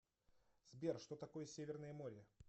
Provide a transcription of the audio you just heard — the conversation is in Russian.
сбер что такое северное море